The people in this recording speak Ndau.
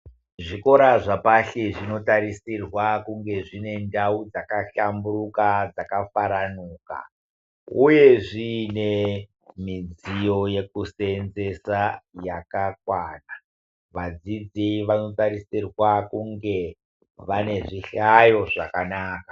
Zvikora zvapashi zvinotarisirwa kunge zvine ndau dzakahlamburuka dzakafaranuka uye zvine midziyo yekuseenzesa yakakwana. Vadzidzi vanotarisirwa kunge vane zvihlayo zvakanaka.